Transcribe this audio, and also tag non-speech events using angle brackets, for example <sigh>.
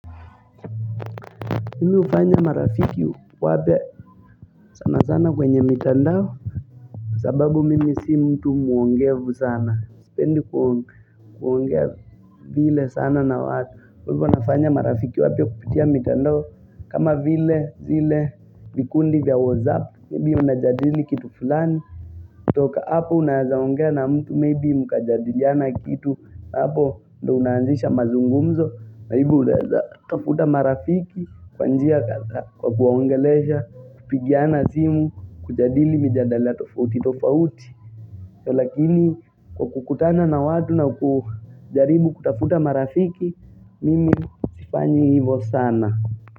Mimi hufanya marafiki wapya sana sana kwenye mitandao sababu mimi si mtu muongevu sana sipendi kuo kuongea vile sana na watu kwa hivo nafanya marafiki wapya kupitia mitandao kama vile zile vikundi vya whatsapp maybe unajadili kitu fulani toka hapo unaezaongea na mtu maybe mkajadiliana kitu na hapo ndo unanzisha mazungumzo <inaudible> utafuta marafiki kwa njia kwa kuwaongelesha Kupigiana simu kujadili mijadala tofauti tofauti Lakini kwa kukutana na watu na kujaribu kutafuta marafiki Mimi sifanyi hivo sana.